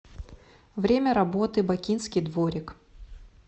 время работы бакинский дворик